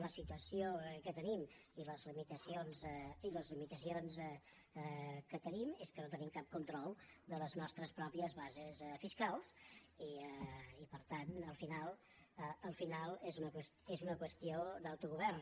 la situació que tenim i en fi les limitacions que tenim són que no tenim cap control de les nostres pròpies bases fiscals i per tant al final és una qüestió d’autogovern